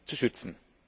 zu schützen.